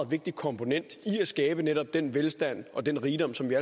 vigtig komponent i at skabe netop den velstand og den rigdom som vi